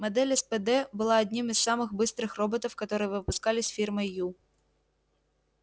модель спд была одним из самых быстрых роботов которые выпускались фирмой ю